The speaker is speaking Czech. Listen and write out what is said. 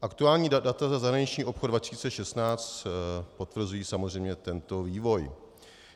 Aktuální data za zahraniční obchod 2016 potvrzují samozřejmě tento vývoj.